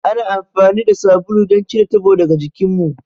Ana amfani da sabulu don cire tabo daga jikinmu.